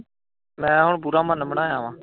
ਮੈਂ ਹੁਣ ਪੂਰਾ ਮਨ ਬਣਾਇਆ।